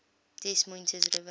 des moines river